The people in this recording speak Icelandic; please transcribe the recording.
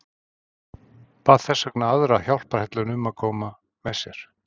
Bað þess vegna aðra hjálparhelluna að koma með sér.